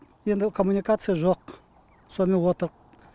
енді коммуникация жоқ сонымен отырқ